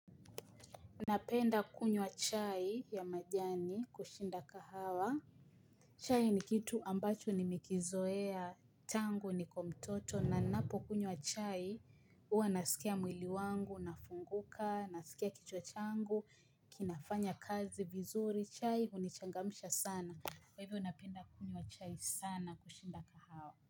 Napenda kunywa chai ya majani kushinda kahawa. Chai ni kitu ambacho nimekizoea tangu niko mtoto na ninapokunywa chai huwa nasikia mwili wangu, unafunguka, nasikia kichwa changu, kinafanya kazi vizuri, chai hunichangamsha sana. Kwa hivo napenda kunywa chai sana kushinda kahawa.